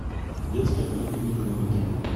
детская поликлиника номер три